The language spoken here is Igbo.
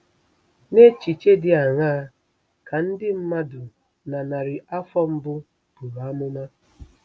N'echiche dị aṅaa ka ndị mmadụ na narị afọ mbụ buru amụma?